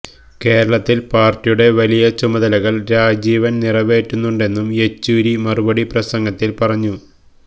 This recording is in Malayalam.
കേരളത്തില് പാര്ട്ടിയുടെ വലിയ ചുമതലകള് രാജീവിന് നിറവേറ്റാനുണ്ടെന്നും യെച്ചൂരി മറുപടി പ്രസംഗത്തിൽ പറഞ്ഞു